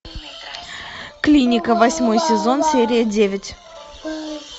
клиника восьмой сезон серия девять